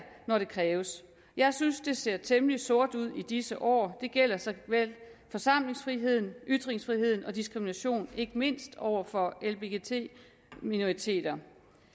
når det kræves jeg synes det ser temmelig sort ud i disse år det gælder såvel forsamlingsfriheden ytringsfriheden som diskrimination ikke mindst over for lbgt minoriteter